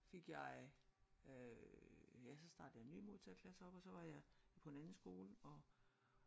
Fik jeg øh ja så startede jeg nye modtagerklasser op og så var jeg på en anden skole og